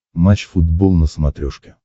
матч футбол на смотрешке